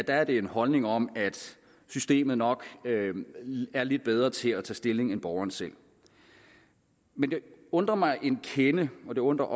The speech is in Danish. er en holdning om at systemet nok er lidt bedre til at tage stilling end borgeren selv men det undrer mig en kende og det undrer